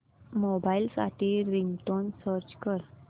mobile साठी ringtone search कर